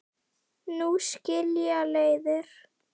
Nú skilja leiðir.